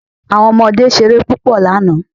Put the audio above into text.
Àwọn ọmọdé ṣeré púpọ̀ lánàá.